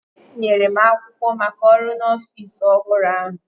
Etinyere m akwụkwọ maka ọrụ n’ọfịs ọhụrụ ahụ